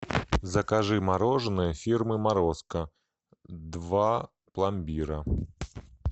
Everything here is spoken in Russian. закажи мороженое фирмы морозко два пломбира